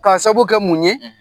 K'a sabu kɛ mun ye